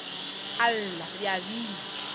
a lla re a bina